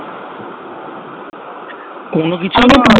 কোনো কিছু না